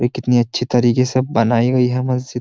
भाई कितनी अच्छी तरीके से बनाई गई है मस्जिद --